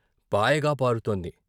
పాయగా పారుతోంది.